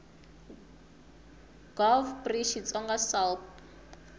gov pri xitsonga sal p